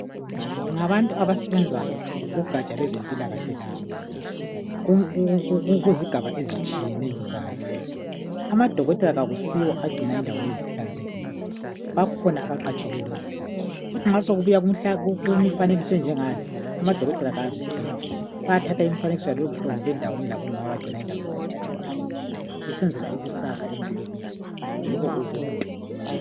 Ngabantu abasebenza kugatsha lwezempilakahle laba kuzigaba ezitshiyeneyo zayo amadokotela akusiwo agcina izindawo lezi zihlanzekile bakhona abaqatshelwe lokho kuthi nxa sekubuya kumifanekiso enjengale amadokotela awazikhethi bayathatha imifanekiso yalohlobo labomama abagcina indawo ihlanzekile besenzela ikusasa empilweni yakho yibo ubuntu